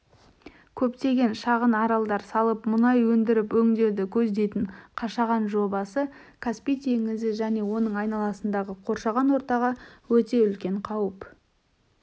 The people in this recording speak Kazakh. көптеген шағын аралдар салып мұнай өндіріп-өңдеуді көздейтін қашаған жобасы каспий теңізі және оның айналасындағы қоршаған ортаға өте үлкен қауіп